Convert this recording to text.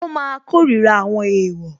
Ó máa kórira àwọn èèwọ̀